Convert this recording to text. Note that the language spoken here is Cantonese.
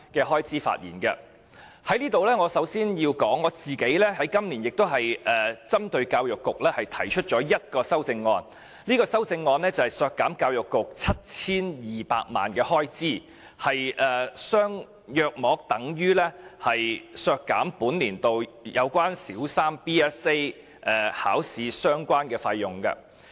我在此首先要指出，我今年針對教育局亦提出了1項修正案，削減教育局 7,200 萬元開支，大約等於本年度有關小三 BCA 的相關費用。